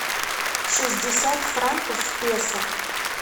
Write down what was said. шестьдесят франков в песо